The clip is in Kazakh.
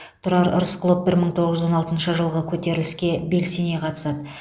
тұрар рысқұлов бір мың тоғыз жүз он алтыншы жылғы көтеріліске белсене қатысады